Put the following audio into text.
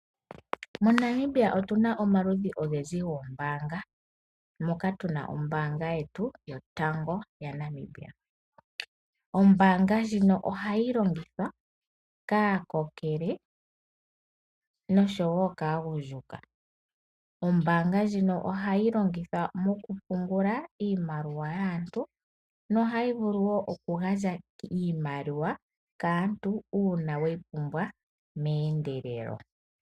MoNamibia otu na omaludhi ogendji goombaanga. Moka tu na ombaanga yetu yotango yopashigwana. Ombaanga ndjino ohayi longithwa kaakokele noshowo kaagundjuka. Ombaanga ndjino ohayi longithwa okupungula iimaliwa yaantu nohayi vulu wo okugandja iimaliwa kaantu uuna ye yi pumbwa meendelelo.